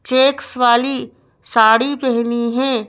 Checks वाली साड़ी पहनी है।